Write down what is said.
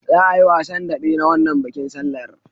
Za'a yi wasan daɓe na wannan bikin sallar.